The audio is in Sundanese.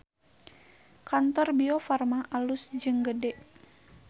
Kantor Biofarma alus jeung gede